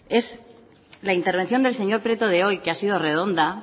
es la intervención del señor prieto de hoy que ha sido redonda